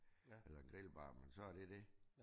Eller en grillbar men så er det dét